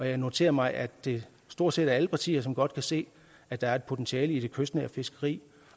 jeg noterer mig at det stort set er alle partier som godt kan se at der er et potentiale i det kystnære fiskeri